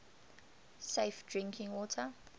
safe drinking water